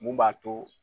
Mun b'a to